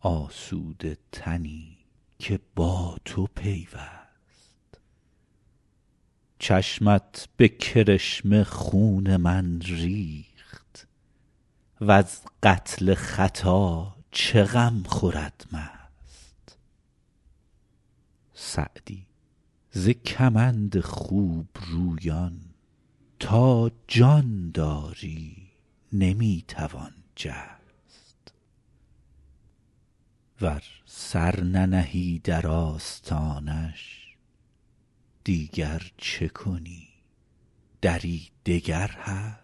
آسوده تنی که با تو پیوست چشمت به کرشمه خون من ریخت وز قتل خطا چه غم خورد مست سعدی ز کمند خوبرویان تا جان داری نمی توان جست ور سر ننهی در آستانش دیگر چه کنی دری دگر هست